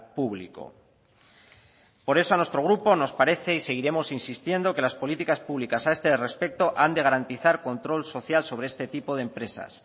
público por eso a nuestro grupo nos parece y seguiremos insistiendo que las políticas públicas a este respecto han de garantizar control social sobre este tipo de empresas